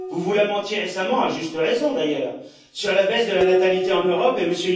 Vous vous lamentiez récemment, à juste raison d'ailleurs, sur la baisse de la natalité en Europe, et M.